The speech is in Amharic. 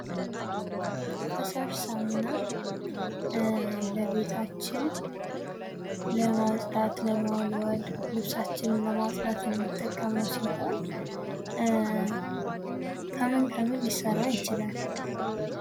ፈሳሽ ሳሙና ለቤታችን ለማጽዳት ለመወልወል ልብሳችንን ለማጽዳት የሚጠቅመው ሲሆን፤ ከምን ምን ሊሰራ ይችላል?